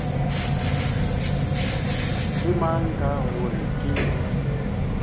ke mang ka gore ke